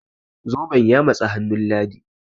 zoben ya matsi hannun ladi?